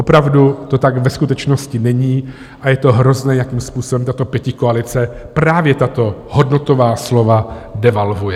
Opravdu to tak ve skutečnosti není a je to hrozné, jakým způsobem tato pětikoalice právě tato hodnotová slova devalvuje.